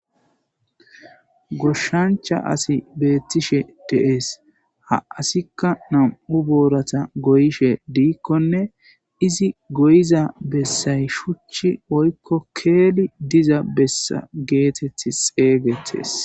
goshshancha asi beettishe de7ees ha asikka nam7u boorata goyishe diikkonne izi goyiza bessay shuchchi oykko keeli diza bessa geeteth xeeygetes